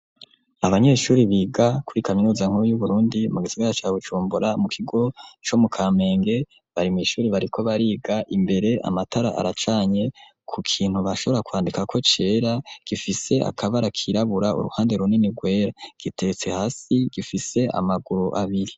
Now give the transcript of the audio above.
Abanyeshure biga kuri kaminuza nkuru y'Uburundi mu gisagara ca Bujumbura mu kigo co mu Kamenge abanyeshure bariko bariga, imbere amatara aracanye, ku kintu bashobora kwandikako cera gifise akabara kirabura uruhande runini rwera giteretse hasi gifise amaguru abiri.